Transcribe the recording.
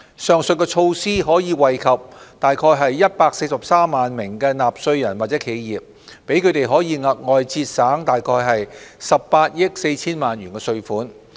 上述措施可惠及約143萬名納稅人或企業，讓他們額外節省約18億 4,000 萬元稅款。